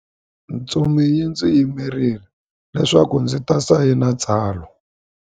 Ntsumi yi ndzi yimerile leswaku ndzi ta sayina tsalwa.